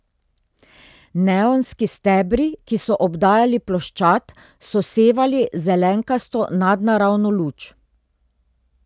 Neonski stebri, ki so obdajali ploščad, so sevali zelenkasto, nadnaravno luč.